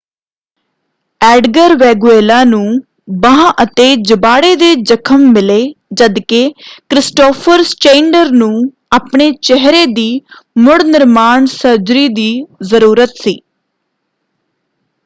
Edgar Veguilla ਨੂੰ ਬਾਂਹ ਅਤੇ ਜਬਾੜੇ ਦੇ ਜਖ਼ਮ ਮਿਲੇ ਜਦਕਿ ਕ੍ਰਿਸਟੋਫਰ ਸਚੇਂਏਂਡਰ ਨੂੰ ਆਪਣੇ ਚਿਹਰੇ ਦੀ ਮੁੜਨਿਰਮਾਣ ਸਰਜਰੀ ਦੀ ਜ਼ਰੂਰਤ ਸੀ।